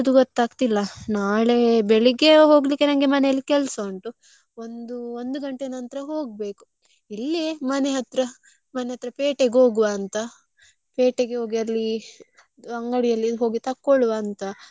ನಾಳೆ ಬೆಳಿಗ್ಗೆ ಹೋಗ್ಲಿಕ್ಕೆ ನಂಗೆ ಮನೆಯಲ್ಲಿ ಕೆಲ್ಸ ಉಂಟು. ಒಂದು ಒಂದು ಗಂಟೆ ನಂತ್ರ ಹೋಗ್ಬೇಕು, ಇಲ್ಲೆ ಮನೆ ಹತ್ರ ಮನೆ ಹತ್ರ ಪೇಟೆಗೆ ಹೋಗ್ವ ಅಂತ. ಪೇಟೆಗೆ ಹೋಗಿ ಅಲ್ಲಿ ಅಂಗಡಿಯಲ್ಲಿ ಹೋಗಿ ತಕ್ಕೊಳ್ಳುವ ಅಂತ ಮನೆಗೆಸ ಎಲ್ಲಾ ಖಾಲಿ.